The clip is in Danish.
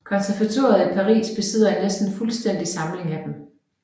Konservatoriet i Paris besidder en næsten fuldstændig samling af dem